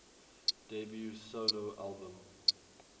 debut solo album